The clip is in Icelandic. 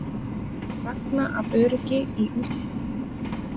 Ragna af öryggi í úrslitaleikinn